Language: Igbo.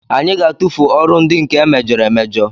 Anyị ga-atụfu ọrụ ndị nke emejọrọ emejọ